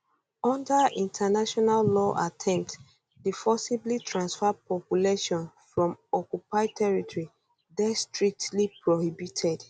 under international law attempts to forcibly transfer populations from occupied territory dey strictly prohibited